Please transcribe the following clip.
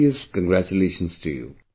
Heartiest congratulation to you